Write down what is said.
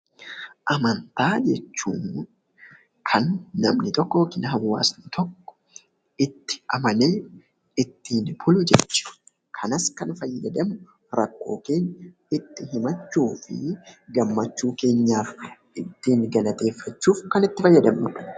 Amantaa jechuun kan namni tokko yookiin hawaasni tokko itti amanee ittiin bulu jechuudha. Kanas kan fayyadamnu rakkoo keenya itti himachuu fi gammachuu keenyaaf ittiin galateeffachuuf kan itti fayyadamnudha.